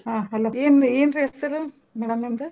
ಹಾ hello ಏನ್~ ಏನ್ರೀ ಹೆಸರು madam ನಿಮ್ದು?